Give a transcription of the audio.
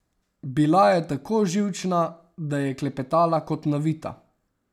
Bila je tako živčna, da je klepetala kot navita.